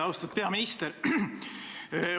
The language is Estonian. Austatud peaminister!